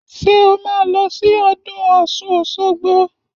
Ṣé o máa lọ sí ọdún ọ̀ṣun òṣogbo?